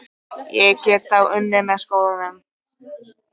Ég get þá unnið með skólanum.